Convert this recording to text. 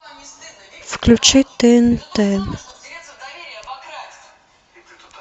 включи тнт